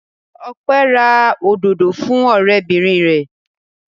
Ọpẹ́ ra òdòdó fún ọ̀rẹ́bìnrin rẹ̀.